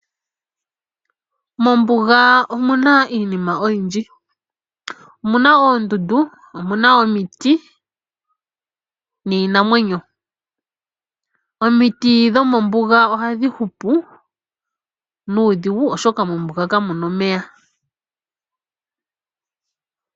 Mombuga omu na iinima oyindji. Omu na oondundu, omu na omiti niinamwenyo. Omiti dhomombuga ohadhi hupu nuudhigu, oshoka mombuga kamu na omeya.